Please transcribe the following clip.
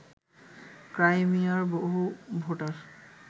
ক্রাইমিয়ার বহু ভোটার